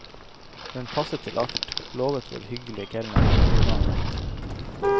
Den passer til alt, lovet vår hyggelige kelner, og vi ga ham rett.